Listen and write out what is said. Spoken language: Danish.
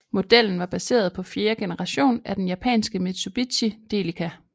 Modellen var baseret på fjerde generation af den japanske Mitsubishi Delica